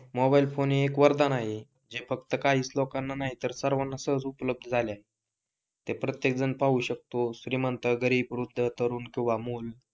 mobile phone हे के वरदान आहे जे फक्त काहीच लोकांना नाहीतर सर्वांना सहज उपलब्ध झाले आहे ते प्रत्येक जण पाहू शकतो श्रीमंत, गरीब, वृद्ध, तरुण किंवा मुल